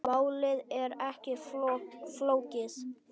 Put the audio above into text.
Málið er ekki flókið.